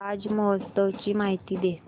ताज महोत्सव ची माहिती दे